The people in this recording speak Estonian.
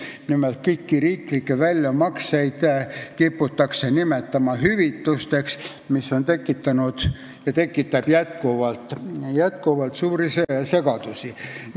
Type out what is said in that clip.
Nimelt, kõiki riiklikke väljamakseid kiputakse nimetama hüvitisteks, mis on tekitanud ja tekitab praegugi suurt segadust.